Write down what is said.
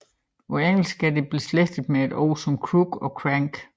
På engelsk er det beslægtet med ord som crook og crank